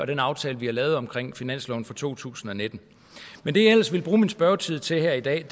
den aftale vi har lavet omkring finansloven for to tusind og nitten men det jeg ellers vil bruge min spørgetid til her i dag